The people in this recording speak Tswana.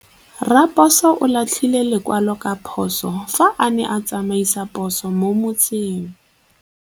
Raposo o latlhie lekwalô ka phosô fa a ne a tsamaisa poso mo motseng.